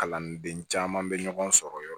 Kalanden caman bɛ ɲɔgɔn sɔrɔ yɔrɔ